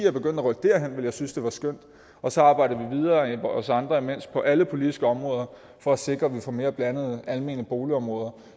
er begyndt at rykke derhen ville jeg synes det var skønt så arbejder vi andre imens videre på alle politiske områder for at sikre at vi får mere blandede almene boligområder